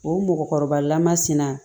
O mɔgɔkɔrɔba lamasina